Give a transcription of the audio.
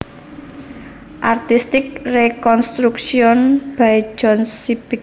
Artistic reconstruction by John Sibbick